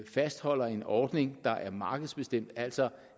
fastholder en ordning der er markedsbestemt altså